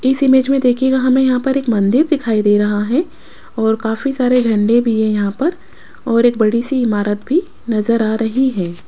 इस इमेज में देखिएगा हमें यहां पर एक मंदिर दिखाई दे रहा है और काफी सारे झंडे भी है यहां पर और एक बड़ी सी इमारत भी नजर आ रही है।